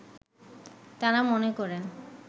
তাঁরা মনে করেন